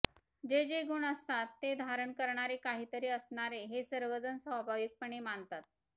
जे जे गुण असतात ते धारण करणारे काहीतरी असणार हे सर्वजण स्वाभाविकपणे मानतात